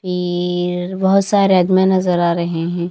फिर बहुत सारे आदमी नजर आ रहे हैं।